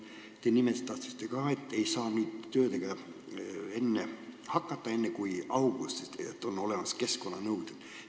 Te nimetasite veel, et töödega ei saa peale hakata enne kui augustis ja et on olemas keskkonnanõuded.